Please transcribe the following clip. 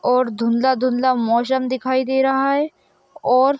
और धुंधला-धुंधला मोसम दिखाई दे रहा है और--